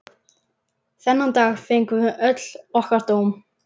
Þennan dag fengum við öll okkar dóm.